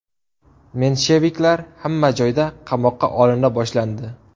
Mensheviklar hamma joyda qamoqqa olina boshlandi.